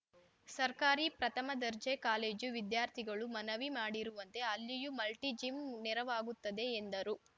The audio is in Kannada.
ಸರ್ಕಾರಿ ಪ್ರಥಮ ದರ್ಜೆ ಕಾಲೇಜು ವಿದ್ಯಾರ್ಥಿಗಳು ಮನವಿ ಮಾಡಿರುವಂತೆ ಅಲ್ಲಿಯೂ ಮಲ್ಟಿಜಿಮ್‍ಗೆ ನೆರವಾಗುತ್ತದೆ ಎಂದರು